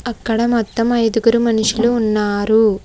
అక్కడ మొత్తం ఐదుగురు మనుషులు ఉన్నారు.